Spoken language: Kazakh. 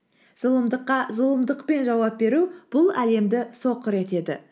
зұлымдыққа зұлымдықпен жауап беру бұл әлемді соқыр етеді